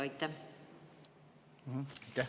Aitäh!